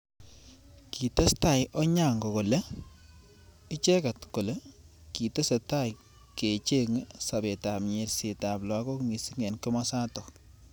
Kitestai Onyango kole icheket kole kitesetai kichengei sabet ab nyerset ab lakok missing eng kimosatak.